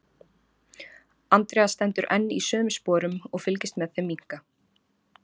Andrea stendur enn í sömu sporum og fylgist með þeim minnka.